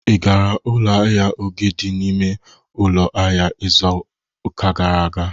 I gara ụlọ ahịa Oge dị n'ime ụlọ ahịa izu ụka gara aga.